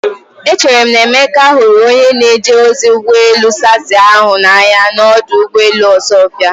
Echere m na Emeka hụrụ onye na-eje ozi ụgbọ elu sassy ahụ n'anya n'ọdụ ụgbọ elu Osuofia.